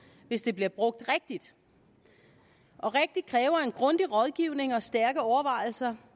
hvis det bliver brugt rigtigt og rigtigt kræver en grundig rådgivning og stærke overvejelser